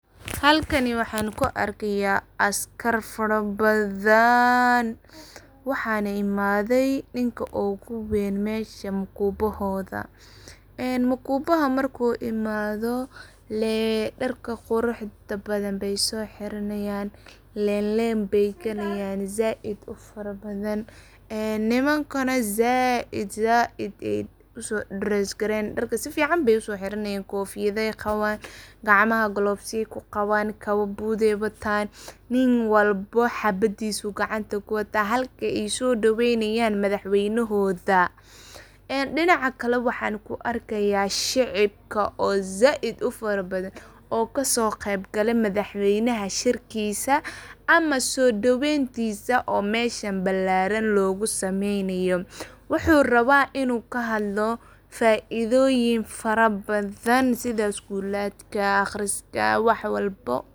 Halkani waxan ku arkaya askar fara badaan. Waxana imadey ninka ugu weyn mesha oo mukubahoda. Mukubaha marku imado dharka quruxda badan ay so hiranayan leen leen bey galayan ,nimankana zaid bey uso dares garey nayan budey qawan, gacmaha gloveya ay ku qawan ,nin walba habadisa ayu gacanta kuwata ,halka ay so dawey nayan madax weynahodha. Dinaca kale waxan ku arkaya shicibka oo zaid u fara badan oo kaso qeyb gale madax weynaha shirkisa ama so daweyn tisa oo meshan balaran oo meshan logu sameynayo wuxu raba inu kahadlo faidoyin fara badan sidha schooladka ,aqriska wax walbo.